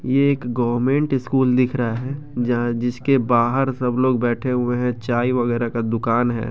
ये एक government school दिख रहा है जहाँ जिसके बाहर सब लोग बैठे हुए हैं चाय वगैरा का दुकान है।